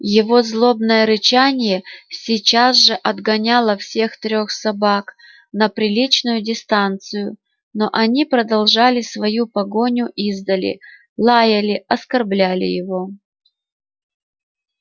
его злобное рычание сейчас же отгоняло всех трёх собак на приличную дистанцию но они продолжали свою погоню издали лаяли оскорбляли его